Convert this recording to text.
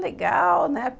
Legal, né?